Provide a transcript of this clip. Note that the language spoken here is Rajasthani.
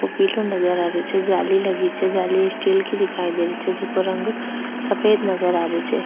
वो पिलो नजर आ रहियो छे जाली लगी छे जाली स्टील की दिखाई दे रही छे जिको रंग सफ़ेद नजर आ रहियो छे।